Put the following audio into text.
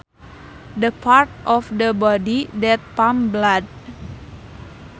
The part of the body that pumps blood